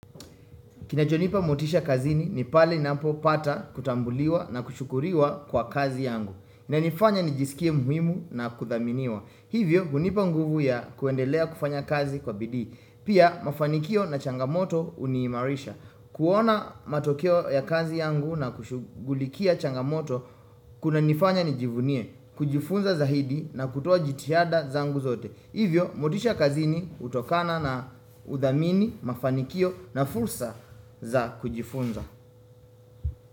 Kinachonipa motisha kazini ni pale napopata kutambuliwa na kushukuriwa kwa kazi yangu. Ina nifanya nijisikie muhimu na kudhaminiwa. Hivyo, hunipa nguvu ya kuendelea kufanya kazi kwa bidii. Pia, mafanikio na changamoto huniimarisha. Kuona matokeo ya kazi yangu na kushugulikia changamoto kunanifanya nijivunie, kujifunza zaidi na kutuwaa jitihada zangu zote. Hivyo, motisha kazini hutokana na udhamini, mafanikio na fursa za kujifunza.